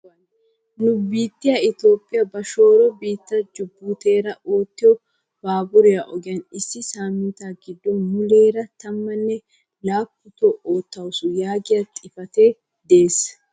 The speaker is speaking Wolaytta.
nu biittiyaa itoophphiyaa ba shooro biittee jubuutira oottiyoo baaburiyaa ogiyaa issi saminttaa giddon muleera tammanne laapputoo oottawus yaagiyaa xifatee de'ees.